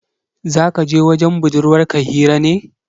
Za kaje wajen budurwar ka hira ne